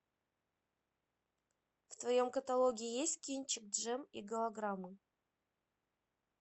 в твоем каталоге есть кинчик джем и голограммы